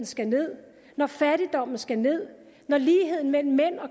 skal ned når fattigdommen skal ned når ligheden mellem